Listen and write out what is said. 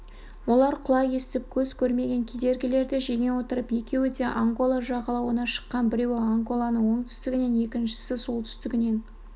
олар құлақ естіп көз көрмеген кедергілерді жеңе отырып екеуі де ангола жағалауына шыққан біреуі анголаның оңтүстігінен екіншісі солтүстігінен